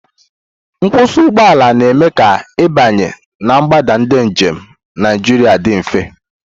Nkwụsị ụgbọ ala na-eme ka ịbanye na mgbada ndị njem Naijiria dị mfe.